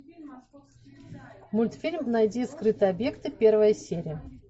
мультфильм найди скрытые объекты первая серия